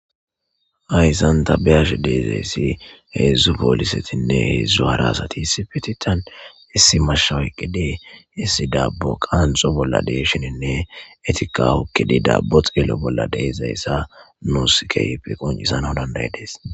Aysanta beyashe deezeyssi heedzdzu poolisetinne heedzdzu harasati sifiti tan issi mashshawyqqidee issi daabbo qaanxo bolla deshininne etika wukkidi daabbo xeelo bolla deezayssa nuuskeypi qoncisana danday dees